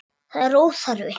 Það er óþarfi.